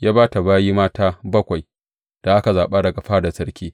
Ya ba ta bayi mata bakwai da aka zaɓa daga fadar sarki.